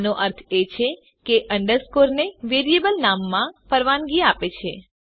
આનો અર્થ એ છે કે અંડરસ્કોર ને વેરીએબલ નામમાં પરવાનગી છે